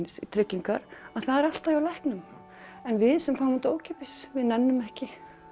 í tryggingar að það er alltaf hjá læknum en við sem fáum þetta ókeypis við nennum ekki